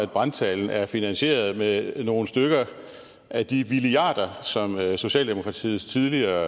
brandtalen er finansieret med nogle stykker af de milliarder som socialdemokratiets tidligere